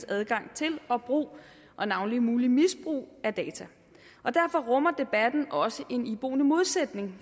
adgang til og brug og navnlig muligt misbrug af data derfor rummer debatten også en iboende modsætning